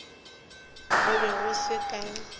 go be go se ka